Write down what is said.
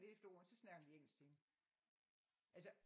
Lidt efter ordene så snakker de engelsk til hende altså